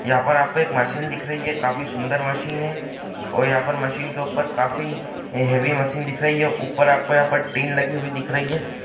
यहाँ आपको एक मशीन दिख रही है। काफी सुन्दर मशीन है। और यहां पर मशीन के ऊपर काफी हैवी मशीन दिख रही है। ऊपर आपको यहां टीन लगी हुई दिख रही है।